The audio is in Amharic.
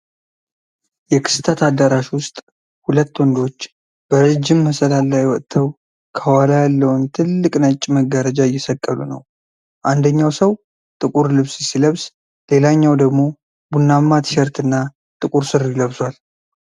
የክስተት አዳራሽ ውስጥ ሁለት ወንዶች በረጅም መሰላል ላይ ወጥተው ከኋላ ያለውን ትልቅ ነጭ መጋረጃ እየሰቀሉ ነው። አንደኛው ሰው ጥቁር ልብስ ሲለብስ፣ ሌላኛው ደግሞ ቡናማ ቲሸርትና ጥቁር ሱሪ ለብሷል።